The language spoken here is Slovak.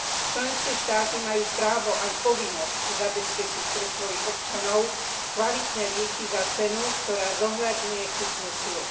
Členské štáty majú právo aj povinnosť zabezpečiť pre svojich občanov kvalitné lieky za cenu, ktorá zohľadňuje kúpnu silu.